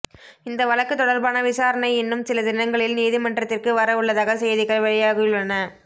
இந்த வழக்கு தொடர்பான விசாரணை இன்னும் சில தினங்களில் நீதிமன்றத்திற்கு வர உள்ளதாக செய்திகள் வெளியாகியுள்ளன